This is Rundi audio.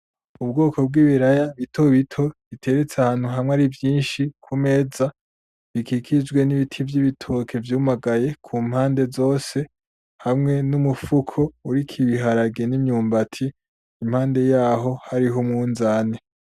Ubwoko bw'ibiraya bitobito biteretse ahantu hamwe arivyinshi kumeza bikikijwe n'Ibiti vy'Ibitoke vyumagaye kumpande zose, hamwe n'umufuko uriko Ibiharage n'Imyumbati, impande yaho hari Umunzane.